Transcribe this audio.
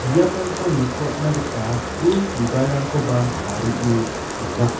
biaprangko nitoatna gita pul bibalrangkoba tarie dona.